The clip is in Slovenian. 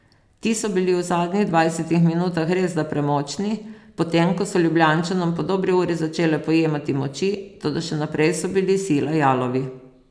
Ti so bili v zadnjih dvajsetih minutah resda premočni, potem ko so Ljubljančanom po dobri uri začele pojemati moči, toda še naprej so bili sila jalovi.